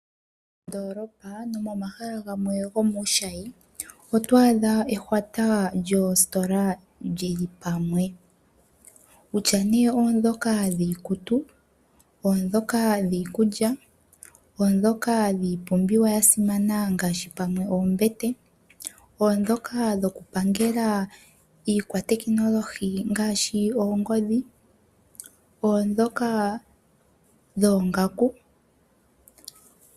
Moondoolopa no momahala gamwe gomuushayi oto adha ehwata lyoositola lili pamwe kutya nee oondhoka dhiikutu, oondhoka dhiikulya, oondhoka dhiipumbiwa ya simana ngaashi pamwe oombete, oondhoka dho kupangela iikwatekinolohi ngaashi oongodhi, oondhoka dhoongaku.